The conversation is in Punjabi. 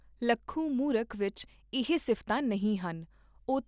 ਲੱਖੂ ਮੂਰਖ ਵਿਚ ਇਹ ਸਿਫਤਾਂ ਨਹੀਂ ਹਨ, ਉਹ